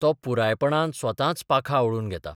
तो पुरायपणान स्वताच पाखां आवळून घेता.